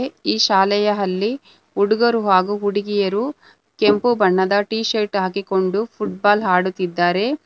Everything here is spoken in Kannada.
ಈ ಶಾಲೆಯ ಅಲ್ಲಿ ಹುಡುಗರು ಹಾಗೂ ಹುಡುಗಿಯರು ಕೆಂಪು ಬಣ್ಣದ ಟೀಶರ್ಟ್ ಹಾಕಿಕೊಂಡು ಫುಟ್ಬಾಲ್ ಆಡುತ್ತಿದ್ದಾರೆ.